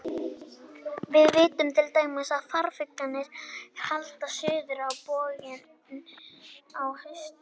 Við vitum til dæmis að farfuglarnir halda suður á bóginn á haustin.